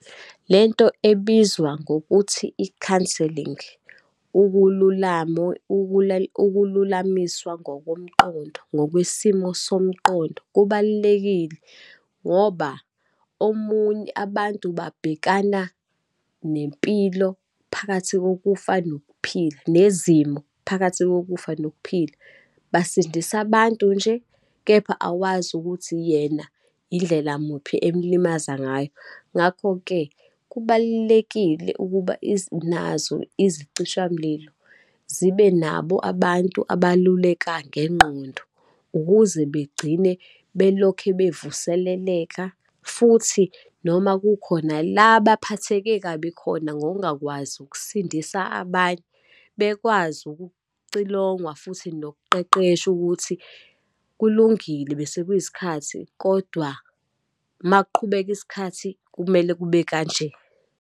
Lento ebizwa ngokuthi i-counselling, ukululama, ukululamiswa ngokomqondo, ngokwesimo somqondo, kubalulekile ngoba, omunye, abantu babhekana nempilo phakathi kokufa nokuphila, nezimo, phakathi kokufa nokuphila, basindisa abantu nje, kepha awazi ukuthi yena indlela muphi emlimaza ngayo. Ngakho-ke, kubalulekile ukuba nazo izicishamlilo zibe nabo abantu abaluleka ngengqondo, ukuze begcine belokhu bevuseleleka futhi, noma kukhona la baphatheke kabi khona ngokungakwazi ukusindisa abanye, bekwazi ukucilongwa, futhi nokuqeqeshwa ukuthi kulungile besekuyisikhathi, kodwa uma kuqhubeka isikhathi, kumele kube kanje.